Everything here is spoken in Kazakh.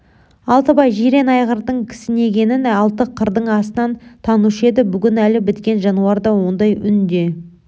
алтыбай жирен айғырдың кісінегенін алты қырдың астынан танушы еді бүгін әлі біткен жануарда ондай үн де